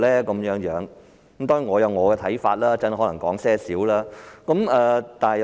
當然，我有我的看法，稍後可能稍為說說。